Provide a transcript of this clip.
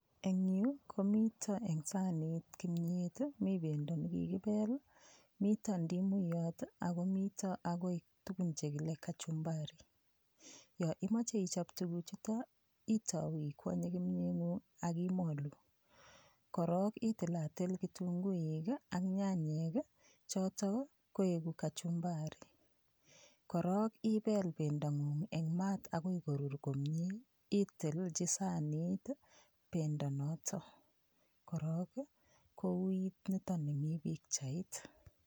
Eng' yu komito eng' sanit kimyet mi pendo nekikipel mito ndimuyot ako mito akoi tukun chekile kachumbari yo imoche ichop tukuchuto itou ikwonye kimyeng'ung' akimolu korok itilatil kitunguik ak nyanyek choto koeku kachumbari korok ipel pendong'ung' eng' maat akoi korur komye itilji sanit pendo noto korok kout nitoni mi pikchait